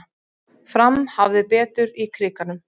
Fram hafði betur í Krikanum